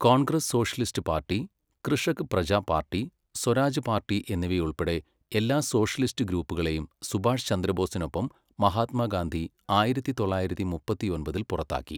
Congress socialist party, Krishak Praja party, Swaraj party എന്നിവയുൾപ്പെടെ എല്ലാ socialist ഗ്രൂപ്പുകളെയും സുഭാഷ് ചന്ദ്രബോസിനൊപ്പം മഹാത്മാഗാന്ധി ആയിരത്തി തൊള്ളായിരത്തി മുപ്പത്തിയൊൻപതിൽ പുറത്താക്കി.